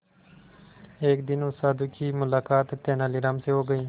एक दिन उस साधु की मुलाकात तेनालीराम से हो गई